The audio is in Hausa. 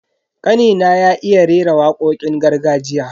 Kanina ya iya rera wakokin gargajiya.